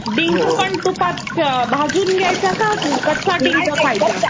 डिंक पण तुपात भाजून घ्यायचा कि कच्चा डिंक खायचा?